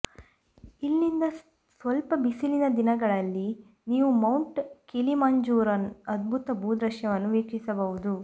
ಇಲ್ಲಿಂದ ಸ್ಪಷ್ಟ ಬಿಸಿಲಿನ ದಿನಗಳಲ್ಲಿ ನೀವು ಮೌಂಟ್ ಕಿಲಿಮಾಂಜರೋನ ಅದ್ಭುತ ಭೂದೃಶ್ಯವನ್ನು ವೀಕ್ಷಿಸಬಹುದು